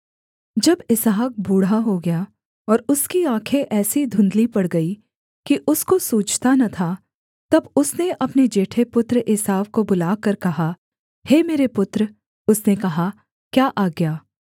जब इसहाक बूढ़ा हो गया और उसकी आँखें ऐसी धुंधली पड़ गईं कि उसको सूझता न था तब उसने अपने जेठे पुत्र एसाव को बुलाकर कहा हे मेरे पुत्र उसने कहा क्या आज्ञा